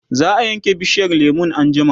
zaa Yanke bishiyar lemun anjima